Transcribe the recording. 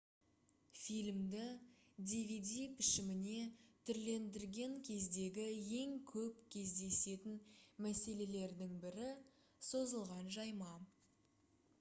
фильмді dvd пішіміне түрлендірген кездегі ең көп кездесетін мәселелердің бірі созылған жайма